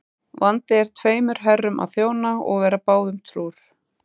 Vandi er tveimur herrum að þjóna og vera báðum trúr.